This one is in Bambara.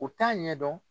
U t'a ɲɛdɔn